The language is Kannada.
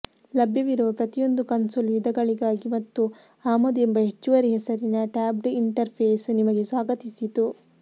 ಲಭ್ಯವಿರುವ ಪ್ರತಿಯೊಂದು ಕನ್ಸೋಲ್ ವಿಧಗಳಿಗಾಗಿ ಮತ್ತು ಆಮದು ಎಂಬ ಹೆಚ್ಚುವರಿ ಹೆಸರಿನ ಟ್ಯಾಬ್ಡ್ ಇಂಟರ್ಫೇಸ್ ನಿಮಗೆ ಸ್ವಾಗತಿಸಿತು